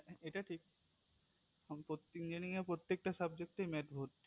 এটা ঠিক engineer এ প্রত্যেকটা subject এ maths ভর্তি